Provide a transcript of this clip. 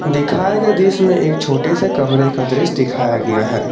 दिखाए गए दृश्य में एक छोटे से कमरे का दृश्य दिखाया गया है।